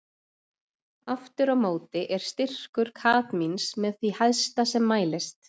aftur á móti er styrkur kadmíns með því hæsta sem mælist